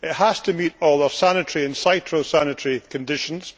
It has to meet all our sanitary and phytosanitary conditions.